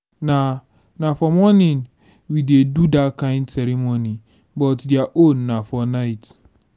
na na for morning we dey do dat kin ceremony but their own na for night